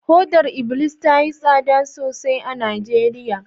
hodar iblis tayi tsada sosai a Najeriya